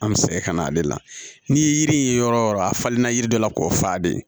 An bɛ sɛgɛn ka na ale la n'i ye yiri ye yɔrɔ o yɔrɔ a falenna yiri dɔ la k'o fa de